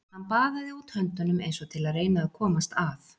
Hann baðaði út höndunum eins og til að reyna að komast að.